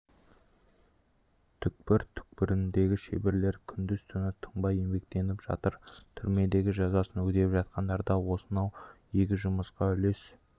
түкпір-түкпіріндегі шеберлер күндіз-түні тынбай еңбектеніп жатыр түрмедегі жазасын өтеп жатқандар да осынау игі жұмысқа үлес